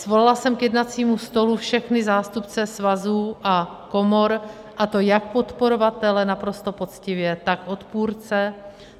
Svolala jsem k jednacímu stolu všechny zástupce svazů a komor, a to jak podporovatele, naprosto poctivě, tak odpůrce.